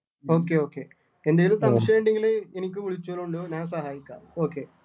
എന്തേലും സംശയം ഉണ്ടെങ്കില് എനിക്ക് വിളിച്ചോളുണ്ടു ഞാൻ സഹായിക്കാം okay